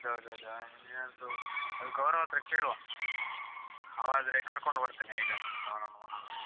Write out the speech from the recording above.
ಹೌದೌದು, ಅದು ಏನ್ ಆದ್ರು, ಅದು ಗೌರವ್‌ ಹತ್ರ ಕೇಳುವಾ ಆವಾ ಆದ್ರೆ ಕರ್ಕೊಂಡ್ ಬರ್ತನೆ ಹೇಗಾದ್ರು, ಅವನನ್ನು ಮಂಗ ಮಾಡಿ.